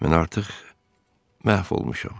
Mən artıq məhv olmuşam.